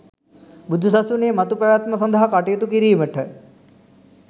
බුදු සසුනේ මතු පැවැත්ම සඳහා කටයුතු කිරීමට